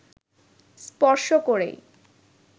স্পর্শ করেই